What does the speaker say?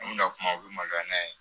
An mina kuma u bi maloya